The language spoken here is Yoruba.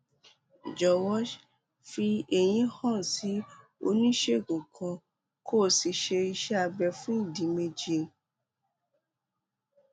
jọwọ fi èyí hàn sí oníṣègùn kan kó o sì ṣe iṣé abẹ fún ìdí méjì